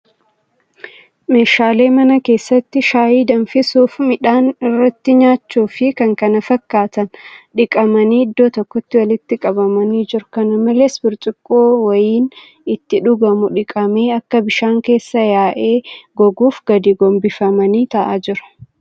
Meeshaalee mana keessatti shaayii danfisuuf midhaan irratti nyaachuu fi kan kana fakkaatan dhiqamanii iddoo tokkotti walitti qabamanii jiru. Kana malees, burcuqqoo wayiniin itti dhugamu dhiqamee akka bishaan keessaa yaa'ee goggooguuf gadi gombifamanii taa'aa jiru.